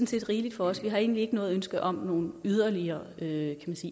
set rigeligt for os vi har egentlig ikke noget ønske om nogen yderligere yderligere